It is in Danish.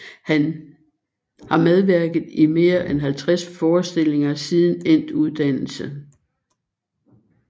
Har medvirket i mere end 50 forestillinger siden endt uddannelse